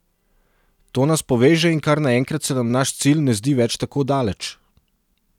To nas poveže in kar naenkrat se nam naš cilj ne zdi več tako daleč.